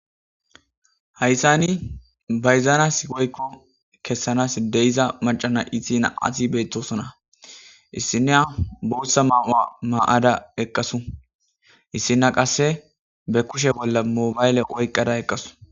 Hayssani bayzaana sigoykko kessanas deyiza macana isina ati beettosona issiniya bootsa ma'a ma'ada eqqasu issina qasse be kushe bolla moobayle oyqqada eqqasu.